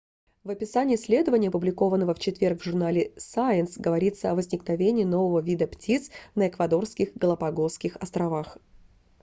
в описании исследования опубликованного в четверг в журнале science говорится о возникновении нового вида птиц на эквадорских галапагосских островах